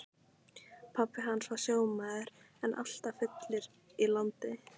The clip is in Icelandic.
Pabbi hans var sjómaður en alltaf fullur í landi.